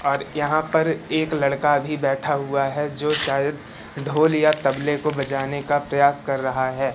और यहां पर एक लड़का भी बैठा हुआ है जो शाय़द ढोल या तबले को बजाने का प्रयास कर रहा है।